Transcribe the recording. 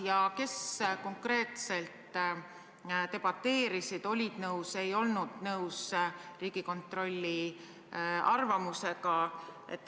Ja kes konkreetselt debateerisid ja olid nõus või ei olnud nõus Riigikontrolli arvamusega?